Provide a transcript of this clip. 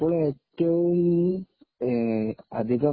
അപ്പോൾ ഏറ്റവും അധികം